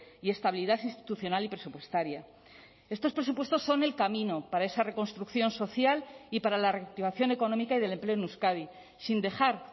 y estabilidad institucional y presupuestaria estos presupuestos son el camino para esa reconstrucción social y para la reactivación económica y del empleo en euskadi sin dejar